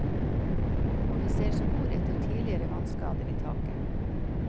Og vi ser spor etter tidligere vannskader i taket.